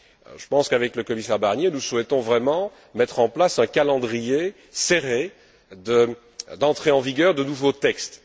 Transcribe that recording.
Je pense qu'avec le Commissaire Barnier, nous souhaitons vraiment mettre en place un calendrier serré d'entrée en vigueur de nouveaux textes.